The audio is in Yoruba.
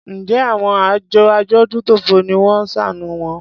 Njẹ àwọn àjọ adójútòfò ni wón ṣàánù wọn?